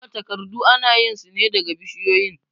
Duka takardu anayin sune daga bishiyoyin